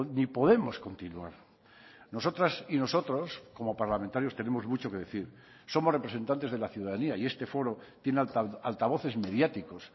ni podemos continuar nosotras y nosotros como parlamentarios tenemos mucho que decir somos representantes de la ciudadanía y este foro tiene altavoces mediáticos